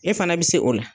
E fana bɛ se o la